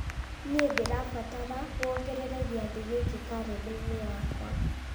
nĩ ndĩrabatara wongerere gĩathĩ gĩkĩ karenda-inĩ yakwa